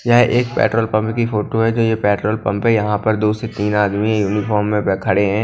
यह एक petrol pump की फोटो है जो ये पेट्रोल पंप है यहां पर दो से तीन आदमी यूनिफॉर्म में ब खड़े हैं।